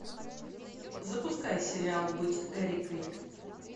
запускай сериал быть эрикой